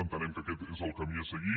entenem que aquest és el camí a seguir